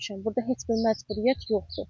Burda heç bir məcburiyyət yoxdur.